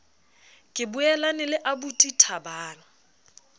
ke boelane le aubuti thabang